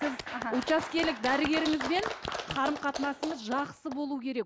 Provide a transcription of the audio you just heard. аха учаскелік дәрігерімізбен қарым қатынасымыз жақсы болу керек